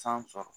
San sɔrɔ